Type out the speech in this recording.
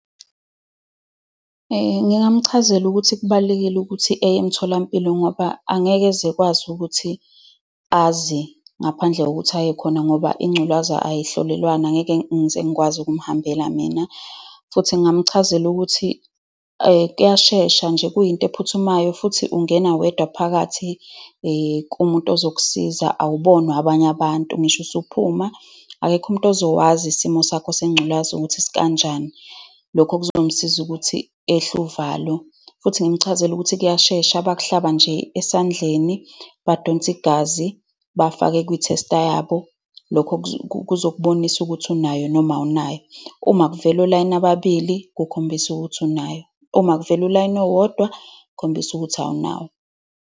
Ngingamchazela ukuthi kubalulekile ukuthi eye emtholampilo ngoba angeke ezekwazi ukuthi azi, ngaphandle kokuthi aye khona, ngoba ingculaza ayihlolewana. Ngeke ngize ngikwazi ukumhambela mina. Futhi ngingamchazela ukuthi kuyashesha nje, kuyinto ephuthumayo futhi ungena wedwa phakathi kumuntu ozokusiza. Awubonwa abanye abantu. Ngisho usuphuma ekekho umuntu ozokwazi isimo sakho sengculaza ukuthi sikanjani. Lokho kuzomsiza ukuthi ehle uvalo. Futhi ngimchazele ukuthi kuyashesha. Bakuhlaba nje esandleni, badonse igazi, bafake kwi-tester yabo. Lokho kuzokubonisa ukuthi unayo noma awunayo. Uma kuvela olayini ababili, kukhombisa ukuthi unayo. Uma kuvela ulayini owodwa, kukhombisa ukuthi awunayo.